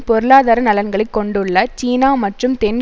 பொருளாதார நலன்களை கொண்டுள்ள சீனா மற்றும் தென்